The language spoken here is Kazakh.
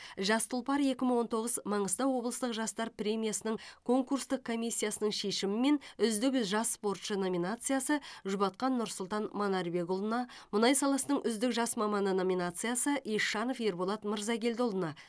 жас тұлпар екі мың он тоғыз маңғыстау облыстық жастар премиясының конкурстық комиссиясының шешімімен үздік жас спортшы номинациясы жұбатқан нұрсұлтан манарбекұлы мұнай саласының үздік жас маманы номинациясы ещанов ерболат мырзагелдіұлы